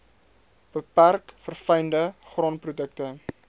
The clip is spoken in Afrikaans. beperk verfynde graanprodukte